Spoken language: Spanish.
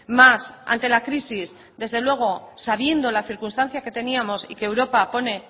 más ante la crisis desde luego sabiendo la circunstancia que teníamos y que europa pone